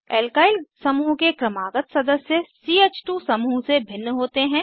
alkyl समूह के क्रमागत सदस्य च2 समूह से भिन्न होते हैं